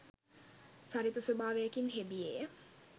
චරිත ස්වභාවයකින් හෙබියේය.